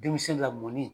Denmisɛn lamɔnni